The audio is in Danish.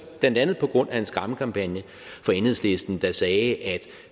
blandt andet på grund af en skræmmekampagne fra enhedslisten der sagde at